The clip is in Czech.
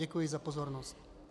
Děkuji za pozornost.